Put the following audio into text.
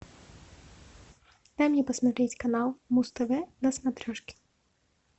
дай мне посмотреть канал муз тв на смотрешке